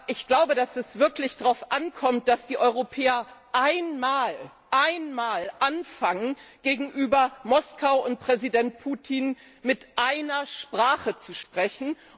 Ich glaube, dass es wirklich darauf ankommt, dass die Europäer einmal anfangen, gegenüber Moskau und Präsident Putin mit einer Sprache zu sprechen.